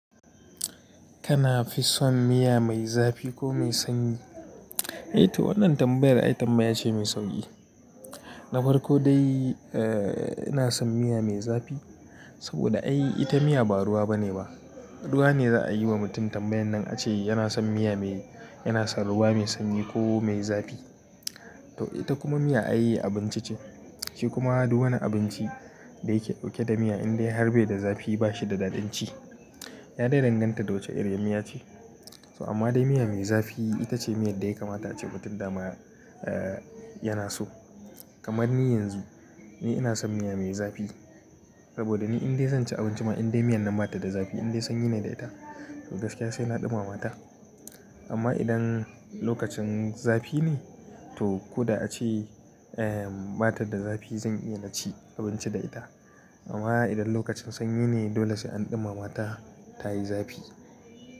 Kana fi son miya mai zafi ko mai sanyi? Eh to wannan tambayar, ai tambaya ce mai sauki. Na farko dai, eh ina son miya mai zafi. Saboda ai ita miya ba ruwa bane ba. Ruwa ne za'a yi wa mutum tambayan nan ace yana son miya mai, yana son ruwa mai sanyi ko mai zafi. To ita kuma miya ai abinci ce. Shi kuma duk wani abinci da yake ɗauke da miya in dai har be da zafi bashi da daɗin ci. Ya dai danganta da wacce iriyar miya ce. So amma dai miya mai zafi itace miyad da ya kamata ace mutum da ma yana so. Kamar ni yanzu, ni ina son miya mai zafi. Saboda ni in dai zan ci abinci ma in dai miyan nan bata da zafi, in dai sanyi ne da ita to gaskiya sai na ɗumama ta. Amma idan lokacin zafi ne to ko da ace bata da zafi zan iya na ci abinci da ita. Amma idan lokacin sanyi ne dole sai an ɗumama ta tayi zafi.